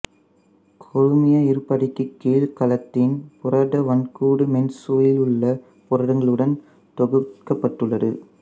கொழுமிய இருபடைக்குக் கீழ் கலத்தின் புரத வன்கூடு மென்சவ்விலுள்ள புரதங்களுடன் தொடுக்கப்பட்டுள்ளது